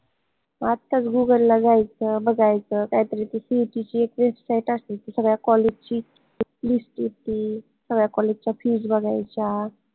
आताच google ला जायचं बघायचं काहीतरी ती CET ची एक site असते ती सगळ्या college ची list देती सगळ्या college च्या fees बघायच्या